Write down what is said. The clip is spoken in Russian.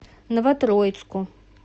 новотроицку